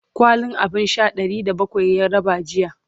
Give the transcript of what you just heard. kwalin abun Sha Ɗari da bakwai ya raba jiya